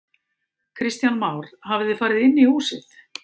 Kristján Már: Hafið þið farið inn í húsið?